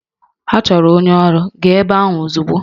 Ha chọrọ onye ọrụ, gaa ebe ahụ ozugbo!